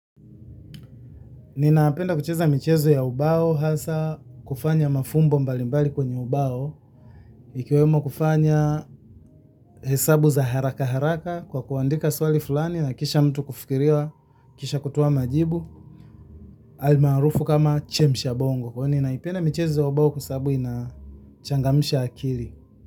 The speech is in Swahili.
Ninapenda kucheza michezo ya ubao, hasa kufanya mafumbo mbalimbali kwenye ubao, ikiwemo kufanya hesabu za haraka haraka kwa kuandika swali fulani na kisha mtu kufikiria, kisha kutoa majibu, almaarufu kama chemsha bongo. Kwa ninaipenda michezo ya ubao kwasabu inachangamsha akili.